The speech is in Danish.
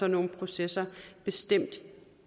nogle processer bestemt